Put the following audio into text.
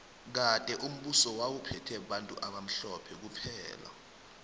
kade umbuso wawu phethe bantu abamhlophe kuphela